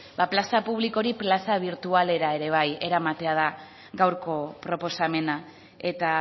ba plaza publiko hori plaza birtualera ere bai eramatea da gaurko proposamena eta